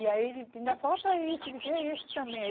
E aí, ainda falta isso, disse, que é esse também.